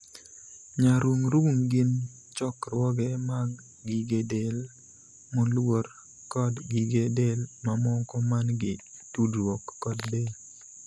Nyarung'rung' gin chokruoge mag gige del moluor kod gige del mamoko man gi tudruok kod del.